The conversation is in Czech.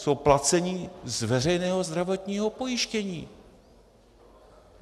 Jsou placeni z veřejného zdravotního pojištění.